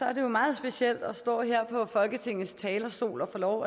er det jo meget specielt at stå her på folketingets talerstol og få lov